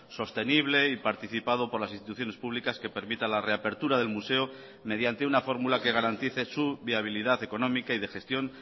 sostenible y participado por las instituciones públicas que permita la reapertura del museo mediante una fórmula que garantice su viabilidad económica y de gestión